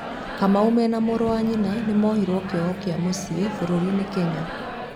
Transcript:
Kamau mena mũrũ wa nyina ni mohiro kĩoho kĩa mũcie bũrũrinĩ Kenya